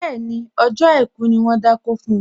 Bẹ́ẹ̀ni, ọjọ́ àìkú ni wón dákó fun